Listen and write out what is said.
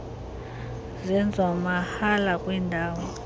zenziwa mahala kwiindawo